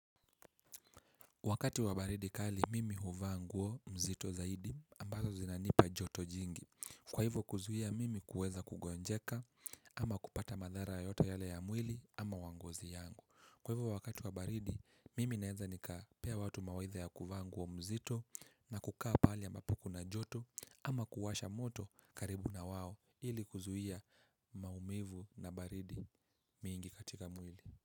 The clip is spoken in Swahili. Wakati wa baridi kali, mimi huvaa nguo mzito zaidi ambazo zinanipa joto jingi. Kwa hivyo kuzuhia, mimi kuweza kugonjeka ama kupata madhara yoyota yale ya mwili ama wangozi yangu. Kwa hivyo wakati wa baridi, mimi naeza nika pea watu mawadha ya kuvaa nguo mzito na kukaa pahali ambapo kuna joto ama kuwasha moto karibu na wao ili kuzuhia maumivu na baridi mingi katika mwili.